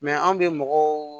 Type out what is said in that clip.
anw bɛ mɔgɔw